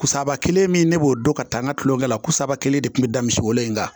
Kusaba kelen min ne b'o dɔn ka taa n ka tulonkɛ la kusaba kelen de kun bɛ da misi wolo in kan